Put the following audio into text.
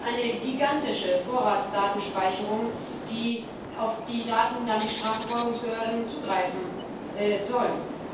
Es ist eine gigantische Vorratsdatenspeicherung, auf deren Daten dann die Strafverfolgungsbehörden zugreifen sollen.